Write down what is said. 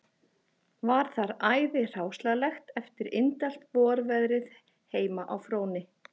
Var þar æði hráslagalegt eftir indælt vorveðrið heima á Fróni